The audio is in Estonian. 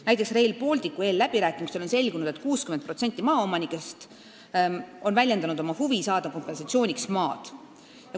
Näiteks on Rail Balticu eelläbirääkimistel selgunud, et 60% maaomanikest on väljendanud huvi saada kompensatsiooniks maad.